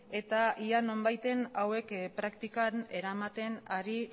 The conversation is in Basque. ea nonbaiten hauek praktikan eramaten ari